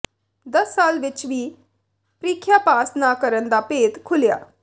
ਦਸ ਸਾਲ ਵਿਚ ਵੀ ਪ੍ਰੀਖਿਆ ਪਾਸ ਨਾ ਕਰਨ ਦਾ ਭੇਤ ਖੁੱਲ੍ਹਿਆ